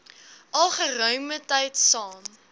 al geruimetyd saam